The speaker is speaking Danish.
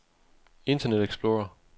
internet explorer